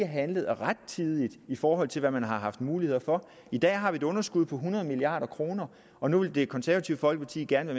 handlet rettidigt i forhold til hvad man har haft mulighed for i dag har vi et underskud på hundrede milliard kr og nu vil det konservative folkeparti gerne